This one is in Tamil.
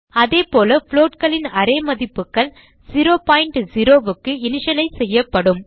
அதேபோல floatகளின் அரே மதிப்புகள் 00 க்கு இனிஷியலைஸ் செய்யப்படும்